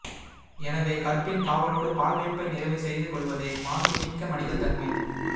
எனவே கற்பின் காவலோடு பால்வேட்பை நிறைவுசெய்து கொள்வதே மாண்பு மிக்க மனிதத்தன்மை